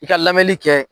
I ka lamɛnni kɛ